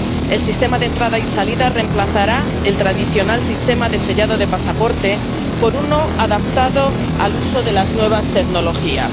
El Sistema de Entradas y Salidas reemplazará el tradicional sistema de sellado de pasaporte por uno adaptado al uso de las nuevas tecnologías.